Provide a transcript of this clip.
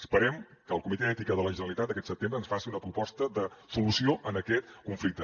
esperem que el comitè d’ètica de la generalitat aquest setembre ens faci una proposta de solució a aquest conflicte